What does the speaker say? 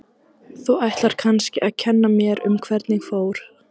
Þú ætlar kannski að kenna mér um hvernig fór.